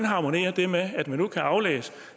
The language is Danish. harmonerer det med at man nu kan aflæse